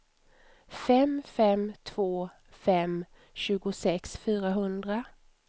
fem fem två fem tjugosex fyrahundra